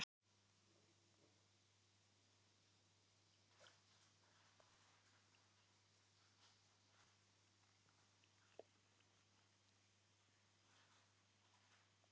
Þú værir komin til Indlands og aftur til baka ef þú værir ein.